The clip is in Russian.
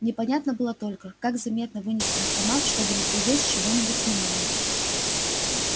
непонятно было только как заметно вынести автомат чтобы не привлечь чьего-нибудь внимания